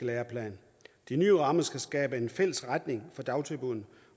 læreplaner de nye rammer skal skabe en fælles retning for dagtilbuddene